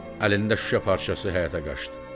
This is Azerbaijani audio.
Əlində şüşə parçası ilə həyətə qaçdı.